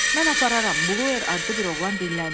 Mən apararam, Blüxer adlı bir oğlan dilləndi.